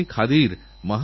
উঠলখেলার আওয়াজ